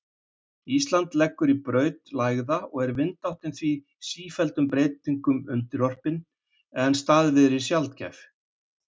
Ísland liggur í braut lægða og er vindáttin því sífelldum breytingum undirorpin en staðviðri sjaldgæf.